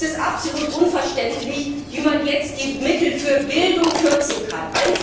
Es ist absolut unverständlich, wie man jetzt die Mittel für Bildung kürzen kann!